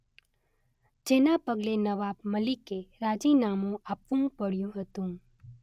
જેના પગલે નવાબ મલિકે રાજીનામું આપવું પડ્યું હતું.